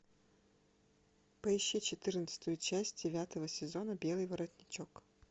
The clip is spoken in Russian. поищи четырнадцатую часть девятого сезона белый воротничок